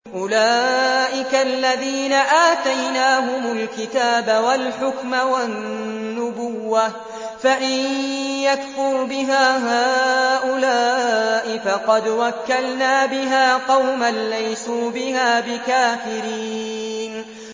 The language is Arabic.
أُولَٰئِكَ الَّذِينَ آتَيْنَاهُمُ الْكِتَابَ وَالْحُكْمَ وَالنُّبُوَّةَ ۚ فَإِن يَكْفُرْ بِهَا هَٰؤُلَاءِ فَقَدْ وَكَّلْنَا بِهَا قَوْمًا لَّيْسُوا بِهَا بِكَافِرِينَ